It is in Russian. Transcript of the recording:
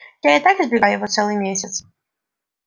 я и так избегаю его целый месяц